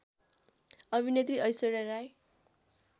अभिनेत्री ऐश्वर्या राय